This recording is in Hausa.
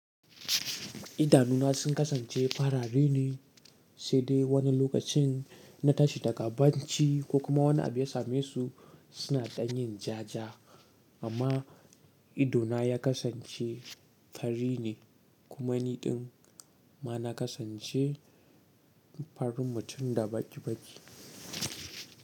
Idanuna sun kasance farare ne, sai dai wani lokacin in na tashi daga bacci ko kuma wani abu ya same su suna ɗanyen ja ja. Amma idona ya kasance fari ne kuma ni ɗin ma na kasance farin mutum da baki baki.